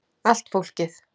Allt fólkið.